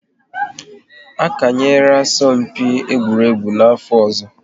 A kanyera asọmpi egwuregwu n'afọ ọzọ